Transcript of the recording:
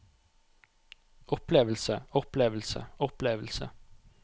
opplevelse opplevelse opplevelse